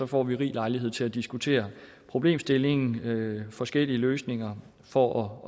får vi rig lejlighed til at diskutere problemstillingen og forskellige løsninger for